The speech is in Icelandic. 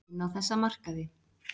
Inn á þessa markaði.